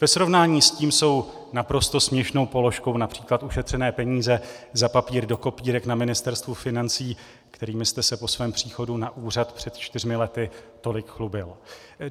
Ve srovnání s tím jsou naprosto směšnou položkou například ušetřené peníze za papír do kopírek na Ministerstvu financí, kterými jste se po svém příchodu na úřad před čtyřmi lety tolik chlubil.